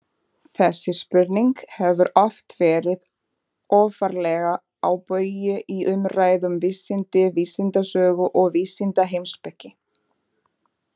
Þessi spurning hefur oft verið ofarlega á baugi í umræðu um vísindi, vísindasögu og vísindaheimspeki.